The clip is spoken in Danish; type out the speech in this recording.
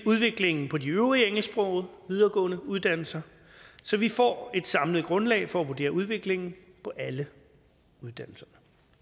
udviklingen på de øvrige engelsksprogede videregående uddannelser så vi får et samlet grundlag for at vurdere udviklingen på alle uddannelserne